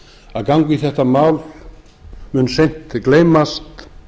að ganga í þetta mál mun seint gleymast